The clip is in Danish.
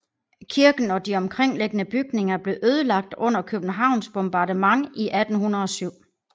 Kirken og de omkringliggende bygninger blev ødelagt under Københavns bombardement i 1807